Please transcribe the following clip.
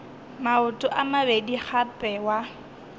maoto a mabedi gape wa